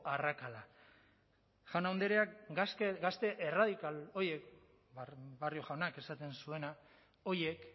arrakala jaun andreak gazte erradikal horiek barrio jaunak esaten zuena horiek